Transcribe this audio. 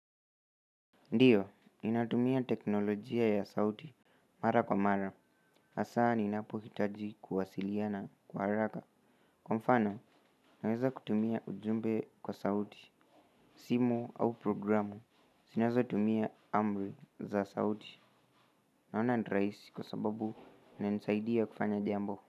Ndiyo ninatumia teknolojia ya sauti mara kwa mara, hasa ninapohitaji kuwasiliana kwa haraka. Kwa mfano naweza kutumia ujumbe kwa sauti simu au programu, zinazotumia amri za sauti. Naona ni rahisi kwa sababu, inanisaidia kufanya jambo.